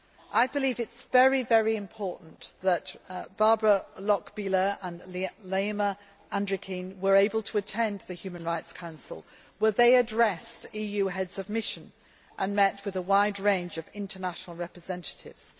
I believe it is very, very important that Barbara Lochbihler and Laima Andrikienė were able to attend the Human Rights Council, where they addressed EU Heads of Mission and met with a wide range of international representatives.